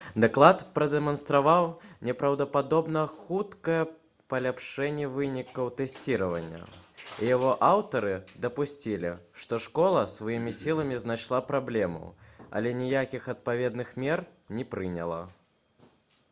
даклад прадэманстраваў непраўдападобна хуткае паляпшэнне вынікаў тэсціравання і яго аўтары дапусцілі што школа сваімі сіламі знайшла праблему але ніякіх адпаведных мер не прыняла